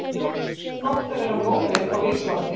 Gott að vera móðir á Íslandi